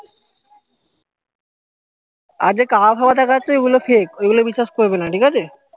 আর যে কাবা ফাবা দেখাচ্ছে ওই গুলো fake ওই গুলো বিশ্বাস করবে না ঠিক আছে